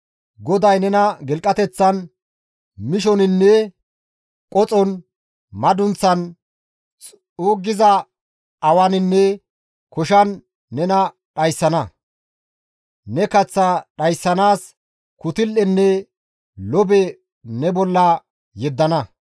GODAY nena gilqateththan, mishoninne qoxon, madunththan, xuuggiza awaninne koshan nena dhayssana; ne kaththaa dhayssanaas kutul7enne lobe ne bolla yeddana.